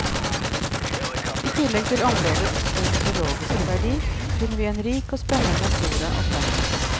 I tillegg til områdets ornitologiske verdi, finner vi en rik og spennende flora og fauna.